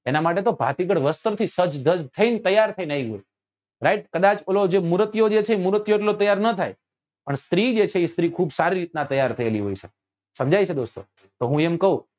એના માટે તો ભાતીગળ વસ્ત્રો થી સજ્જ ધજ્જ થઈને તૈયાર થઇ ને આવી છે right કદાચ જે ઓલો મુરતિયો જે છે એ મુરતિયો એટલો તૈયાર ના થાય પણ સ્ત્રી જે છે એ સ્ત્રી ખુબ સારી રીત નાં તૈયાર થયેલી હોય છે સમજાય છે દોસ્તો તો હું એમ કઉં